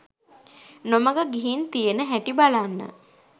නොමග ගිහින් තියෙන හැටි බලන්න.